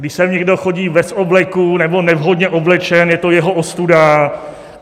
Když sem někdo chodí bez obleku nebo nevhodně oblečen, je to jeho ostuda.